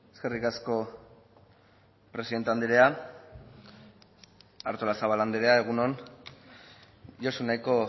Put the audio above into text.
eskerrik asko presidente andrea artolazabal andrea egun on josu nahiko